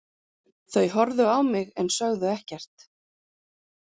Þau horfðu á mig en sögðu ekkert.